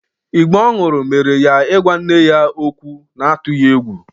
Ìgbó ọ ṅụrụ mere ya ịgwa nne ya okwu n'atụghị egwu.